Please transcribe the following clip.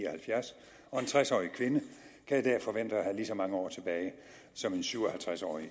og halvfjerds og en tres årig kvinde kan i dag forvente at have lige så mange år tilbage som en syv og halvtreds årig